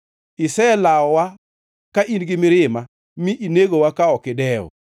Iselawowa ka in gi mirima; mi inegowa ka ok idewo.